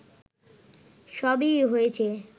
সবই হয়েছে